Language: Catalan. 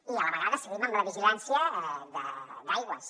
i a la vegada seguim amb la vigilància d’aigües